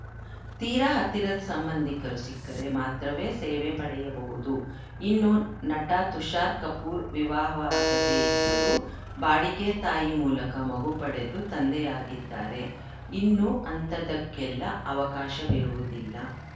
ತೀರಾ ಹತ್ತಿರದ ಸಂಬಂಧಿಕರು ಸಿಕ್ಕರೆ ಮಾತ್ರವೇ ಸೇವೆ ಪಡೆಯಬಹುದು ಇನ್ನು ನಟ ತುಷಾರ್‌ ಕಪೂರ್‌ ವಿವಾಹವಾಗದೇ ಇದ್ದರೂ ಬಾಡಿಗೆ ತಾಯಿ ಮೂಲಕ ಮಗು ಪಡೆದು ತಂದೆಯಾಗಿದ್ದಾರೆ ಇನ್ನು ಅಂಥದ್ದಕ್ಕೆಲ್ಲಾ ಅವಕಾಶವಿರುವುದಿಲ್ಲ